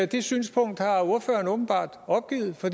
det synspunkt har ordføreren åbenbart opgivet for